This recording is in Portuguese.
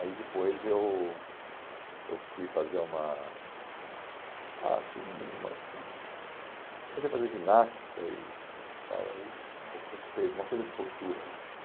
Aí depois eu eu fui fazer uma... Ah, fiz uma hum... Comecei a fazer ginástica e e tal, aí um pouco recupe, uma coisa de postura, né?